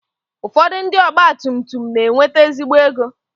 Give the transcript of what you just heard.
Ụfọdụ ndị ọgba tum tum na-enwete ezigbo ego.